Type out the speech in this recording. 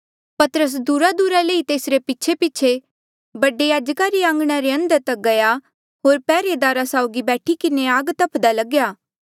पतरस दूरादूरा ले ई तेसरे पीछेपीछे बडे याजका रे आंघणा रे अंदर तक गया होर पैहरेदारा साउगी बैठी किन्हें आग तफ्दा लग्या